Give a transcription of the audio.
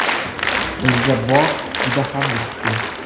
Bizga bog‘ juda ham yoqdi.